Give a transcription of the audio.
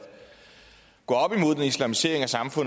sige